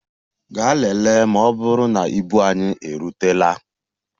Gaa lelee ma ọ bụrụ na ibu anyị erutela!